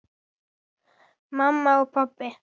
Mamma og pabbi.